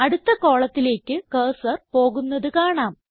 അടുത്ത കോളത്തിലേക്ക് കർസർ പോകുന്നത് കാണാം